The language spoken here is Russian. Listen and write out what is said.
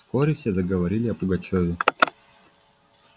вскоре все заговорили о пугачёве